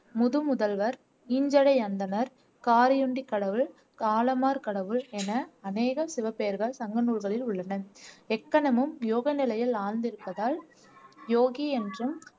முதுமுதல்வர் அந்தணர் காரியுண்டி கடவுள் காளமார் கடவுள் என அநேக சிவபெயர்கள் சங்க நூல்களில் உள்ளன எக்கணமும் யோக நிலையில் ஆழ்ந்திருப்பதால் யோகி என்றும்